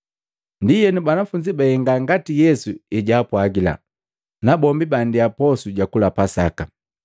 Ndienu banafunzi bahenga ngati Yesu ejaapwagila, na bombi baandia posu jakula Pasaka.